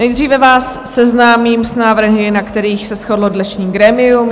Nejdříve vás seznámím s návrhy, na kterých se shodlo dnešní grémium.